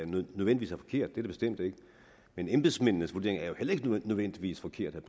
nødvendigvis er forkerte det bestemt ikke men embedsmændenes vurdering er jo heller ikke nødvendigvis forkert vil